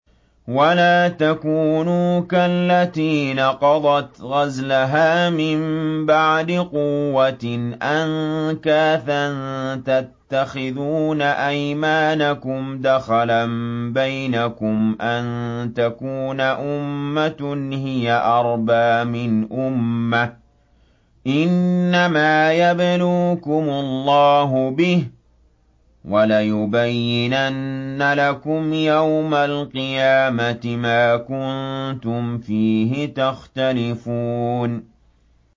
وَلَا تَكُونُوا كَالَّتِي نَقَضَتْ غَزْلَهَا مِن بَعْدِ قُوَّةٍ أَنكَاثًا تَتَّخِذُونَ أَيْمَانَكُمْ دَخَلًا بَيْنَكُمْ أَن تَكُونَ أُمَّةٌ هِيَ أَرْبَىٰ مِنْ أُمَّةٍ ۚ إِنَّمَا يَبْلُوكُمُ اللَّهُ بِهِ ۚ وَلَيُبَيِّنَنَّ لَكُمْ يَوْمَ الْقِيَامَةِ مَا كُنتُمْ فِيهِ تَخْتَلِفُونَ